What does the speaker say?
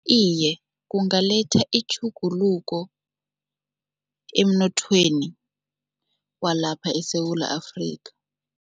Iye, kungaletha itjhuguluko emnothweni walapha eSewula Afrika.